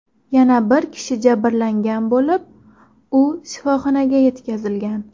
Yana bir kishi jabrlangan bo‘lib, u shifoxonaga yetkazilgan.